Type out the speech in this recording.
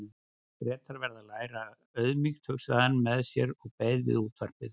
Bretar verða að læra auðmýkt, hugsaði hann með sér og beið við útvarpið.